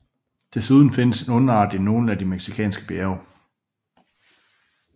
Desuden findes en underart i nogle af de mexikanske bjerge